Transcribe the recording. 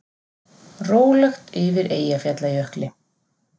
Rólegt yfir Eyjafjallajökli